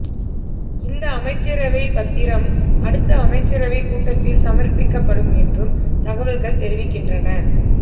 இந்த அமைச்சரவைப் பத்திரம் அடுத்த அமைச்சரவைக் கூட்டத்தில் சமர்ப்பிக்கப்படும் என்றும் தகவல்கள் தெரிவிக்கின்றன